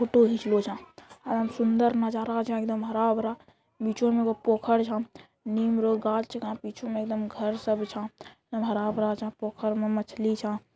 फोटो उम सुन्दर नजारा हो जे एकदम हरा भरा | निचो में एगो पोखर झम नीम रो गाछ पीछो में एकदम घर सा एकदम हरा भरा सा पोखर में मछली झा |